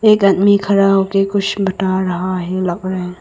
एक आदमी खड़ा होके कुछ बता रहा है लग रहा।